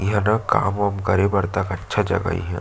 ईहाँ ना काम उम करे बर तक अच्छा जगह हे ईहाँ--